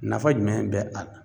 Nafa jumɛn bɛ a la